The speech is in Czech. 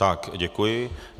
Tak děkuji.